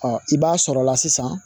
Ɔ i b'a sɔrɔla sisan